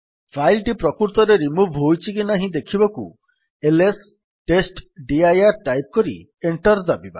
file ଟି ପ୍ରକୃତରେ remove ହୋଇଛି କି ନାହିଁ ଦେଖିବାକୁ ଏଲଏସ୍ ଟେଷ୍ଟଡିର ଟାଇପ୍ କରି ଏଣ୍ଟର୍ ଦାବିବା